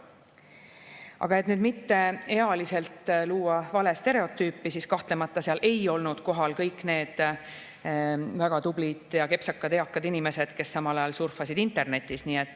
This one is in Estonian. Aga et mitte luua ealiselt vale stereotüüpi, siis ütlen, et kahtlemata ei olnud seal kohal kõik need väga tublid ja kepsakad eakad inimesed, kes samal ajal surfasid internetis.